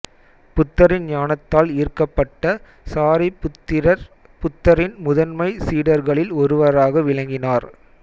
புத்தரின் ஞானத்தால் ஈர்க்கப்பட்ட சாரிபுத்திரர் புத்தரின் முதன்மைச் சீடர்களில் ஒருவராக விளங்கினார்